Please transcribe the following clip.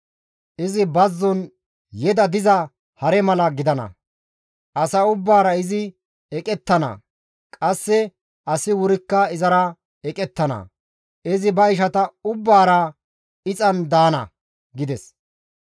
Izi bazzon yeda diza hare mala gidana; asa ubbaara izi eqettana; qasse asi wurikka izara eqettana; izi ba ishata ubbaara ixetti daana» gides.